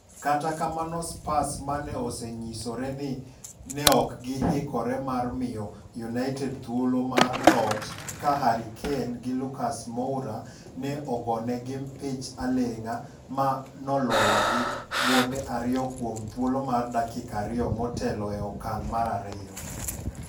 Kata kamano Spurs mane onyisore ni neok gi hikore mar miyo United thuolo mar loch ka Harry Kane gi Lucas Moura ne ogonegi mpich aleng'a ma noloyogi gonde ariyo kuom thuolo mar dakika ariyo motelo e okang' mar ariyo